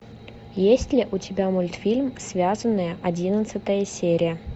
есть ли у тебя мультфильм связанные одиннадцатая серия